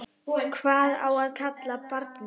Hvað á að kalla barnið?